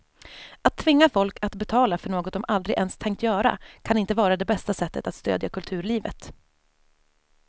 Att tvinga folk att betala för något de aldrig ens tänkt göra kan inte vara det bästa sättet att stödja kulturlivet.